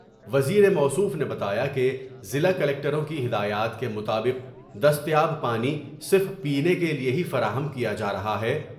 وزیر موصوف نے بتا یا کہ ضلع کلکٹروں کی ہدایات کے مطابق دستیاب پانی صرف پینے کے لیے ہی فراہم کیا جا رہا ہے ۔